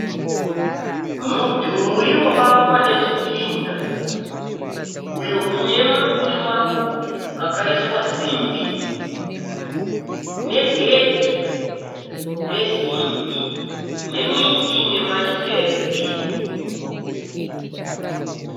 Mudhuri wakavakwa nezvidhina. Uyo une maburi maburi akaiswa simbi negedhi resimbi nemiti ine mashizha egirini.